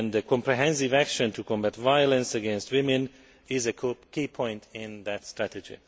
Comprehensive action to combat violence against women is a key point in that strategy.